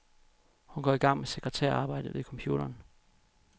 Hun går i gang med sekretærarbejdet ved computeren.